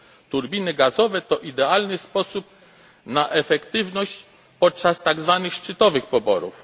Turbiny gazowe to idealny sposób na efektywność podczas tak zwanych szczytowych poborów.